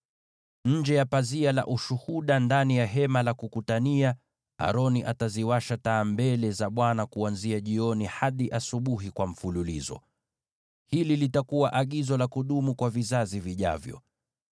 Nje ya pazia la Ushuhuda ndani ya Hema la Kukutania, Aroni ataziwasha taa mbele za Bwana kuanzia jioni hadi asubuhi bila kuzima. Hili litakuwa agizo la kudumu kwa vizazi vijavyo.